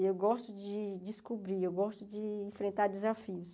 Eu gosto de descobrir, eu gosto de enfrentar desafios.